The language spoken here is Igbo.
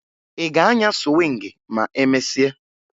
Ị ga-anya sụwịngị ma emesịa?